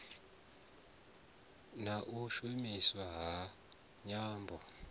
na u shumiswa ha nyambo